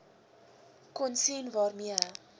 kon sien waarmee